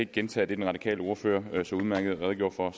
gentage det den radikale ordfører så udmærket redegjorde for